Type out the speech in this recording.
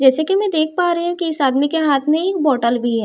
जैसे कि मैं देख पा रही हूं कि इस आदमी के हाथ में एक बॉटल भी है।